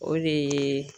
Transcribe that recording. O de ye